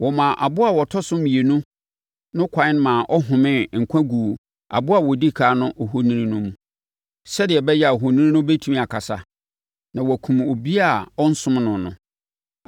Wɔmaa aboa a ɔtɔ so mmienu no ɛkwan ma ɔhomee nkwa guu aboa a ɔdi ɛkan ohoni no mu, sɛdeɛ ɛbɛyɛ a ohoni no bɛtumi akasa, na wakum obiara a ɔnsom no no.